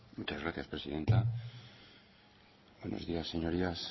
muchas gracias presidenta buenos días señorías